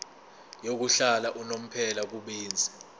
yokuhlala unomphela kubenzi